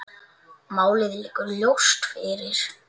Málið liggur ljóst fyrir.